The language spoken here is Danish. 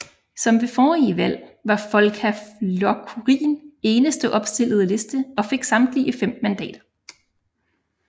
Som ved forrige valg var Folkaflokkurin eneste opstillede liste og fik samtlige 5 mandater